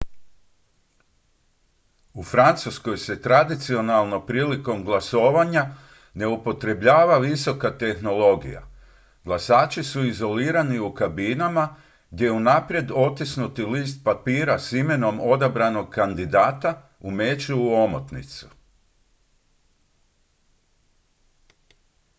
u francuskoj se tradicionalno prilikom glasovanja ne upotrebljava visoka tehnologija glasači su izolirani u kabinama gdje unaprijed otisnuti list papira s imenom odabranog kandidata umeću u omotnicu